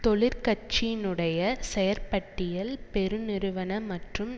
தொழிற் கட்சியினுடைய செயற்பட்டியல் பெரு நிறுவன மற்றும்